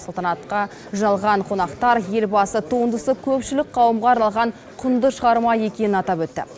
салтанатқа жиналған қонақтар елбасы туындысы көпшілік қауымға арналған құнды шығарма екенін атап өтті